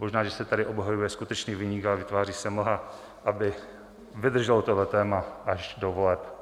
Možná že se tady obhajuje skutečný viník, ale vytváří se mlha, aby vydrželo tohle téma až do voleb.